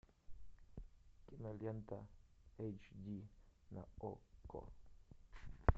кинолента эйч ди на окко